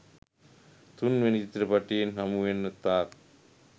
තුන්වෙනි චිත්‍රපටයෙන් හමුවෙන තාක්